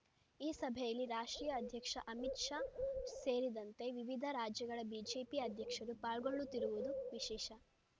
ಈ ಸಭೆಯಲ್ಲಿ ರಾಷ್ಟ್ರೀಯ ಅಧ್ಯಕ್ಷ ಅಮಿತ್ ಶಾ ಸೇರಿದಂತೆ ವಿವಿಧ ರಾಜ್ಯಗಳ ಬಿಜೆಪಿ ಅಧ್ಯಕ್ಷರು ಪಾಲ್ಗೊಳ್ಳುತ್ತಿರುವುದು ವಿಶೇಷ